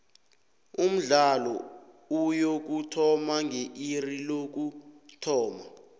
umdlalo uyokuthoma nge iri lokuthoma